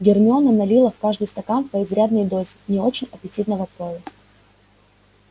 гермиона налила в каждый стакан по изрядной дозе не очень аппетитного пойла